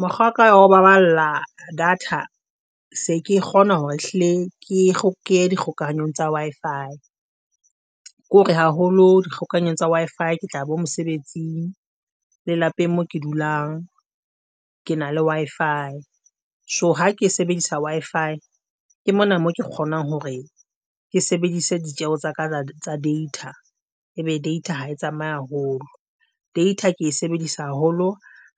Mokgwa wa ka wa ho baballa data se ke kgona hore hlile ke ye dikgokahanyong tsa Wi-Fi, ke hore haholo dikgokanyong tsa Wi-Fi ke tla ya bo mosebetsing le lapeng moo ke dulang ke na le Wi-Fi. So, ha ke sebedisa Wi-Fi ke mona mo ke kgonang hore ke sebedise ditjeho tsa ka tsa data ha e tsamaye haholo, data ke e sebedisa haholo